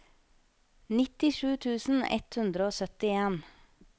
nittisju tusen ett hundre og syttien